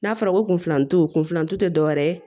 N'a fɔra ko kun filantu kun filanan tu te dɔwɛrɛ ye